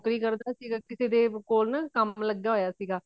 ਨੋਕਰੀ ਕਰਦਾ ਸੀਗਾ ਕਿਸੇ ਦੇਵ ਕੋਲ ਨਾ ਕੰਮ ਲੱਗਿਆ ਹੋਇਆ ਸੀ